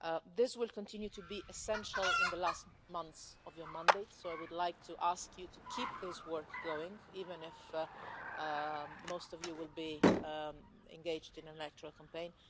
This will continue to be essential in the last months of your mandate, so I would like to ask you to keep this work going, even if most of you will be engaged in the electoral campaign.